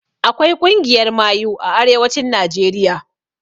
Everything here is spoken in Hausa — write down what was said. Akwai ƙungiyar mayu a arewacin najeriya